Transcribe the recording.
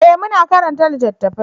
eh mu na karanta littattafai